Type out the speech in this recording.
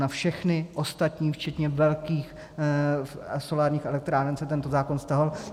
Na všechny ostatní včetně velkých solárních elektráren se tento zákon vztahoval.